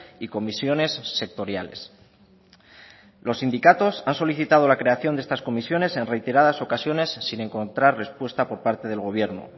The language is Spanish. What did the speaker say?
y comisiones sectoriales los sindicatos han solicitado la creación de estas comisiones en reiteradas ocasiones sin encontrar respuesta por parte del gobierno